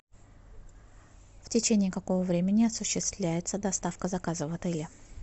в течении какого времени осуществляется доставка заказа в отеле